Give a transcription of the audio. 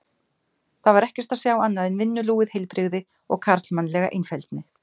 Þar var ekkert að sjá annað en vinnulúið heilbrigði og karlmannlega einfeldni.